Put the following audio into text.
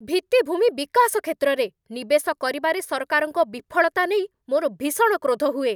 ଭିତ୍ତିଭୂମି ବିକାଶ କ୍ଷେତ୍ରରେ ନିବେଶ କରିବାରେ ସରକାରଙ୍କ ବିଫଳତା ନେଇ ମୋର ଭୀଷଣ କ୍ରୋଧ ହୁଏ।